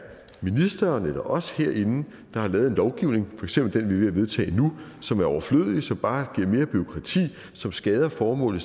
ministeren eller os herinde der har lavet en lovgivning for eksempel den vi vedtage nu som er overflødig som bare giver mere bureaukrati og som skader formålet